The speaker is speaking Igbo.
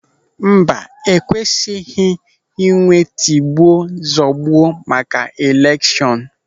Mba, ekwesịghị inwe tigbuo zọgbuo maka elekshọn.